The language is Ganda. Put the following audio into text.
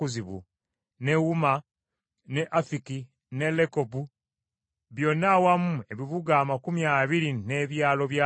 ne Uma ne Afiki ne Lekobu byonna awamu ebibuga amakumi abiri n’ebyalo byabyo.